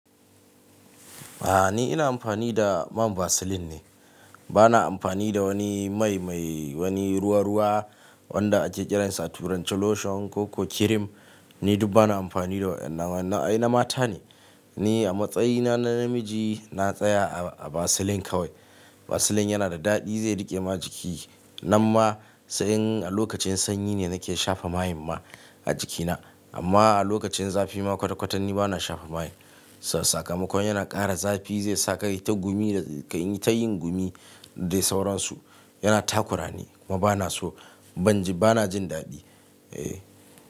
A'a ni ina amfani da man Vaseline ne. Bana amfani da wani mai mai wani ruwa-ruwa wanda ake kiransa turanci lotion ko kirim. Ni duk bana amfani da wannan, wannan ai na mata ne. Ni a matsayina na namiji na tsaya a Vaseline kawai. Vaseline yana da daɗi zai riƙe ma jiki. Nan ma sai in a lokacin sanyi ne nake shafa mayan ma a jikina. Amma a lokacin zafi ma kwata-kwata ni bana shafa maye. Sakamakon yana ƙara zafi zai saka ta gumi da ka yi ta yin gumi dai sauransu. Yana takurani, kuma bana so. Ban ji bana jin daɗi. Eh.